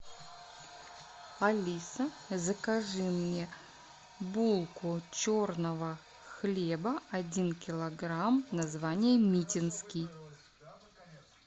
алиса закажи мне булку черного хлеба один килограмм название митинский